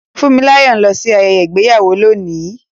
Funmilayo ń lọ sí ayẹyẹ ìgbéyàwó lónìí.